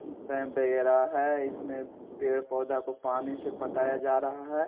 पैम वगैरह है इसमें पेड़ पौधा को पानी से पटाया जा रहा है।